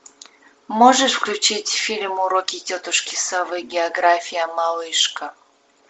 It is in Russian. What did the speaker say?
можешь включить фильм уроки тетушки совы география малышка